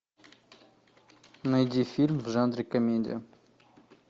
найди фильм в жанре комедия